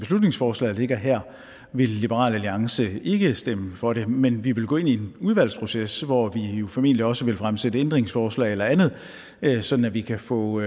beslutningsforslaget ligger her vil liberal alliance ikke stemme for det men vi vil gå ind i en udvalgsproces hvor vi jo formentlig også vil fremsætte ændringsforslag eller andet sådan at vi kan få